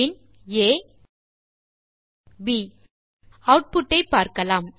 பின் a160 pin ப் output ஐ தருகிறது